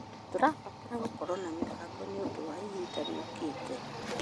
Tũrabatara gũkorwo na mĩbango nĩ ũndũ wa ihinda rĩũkĩte.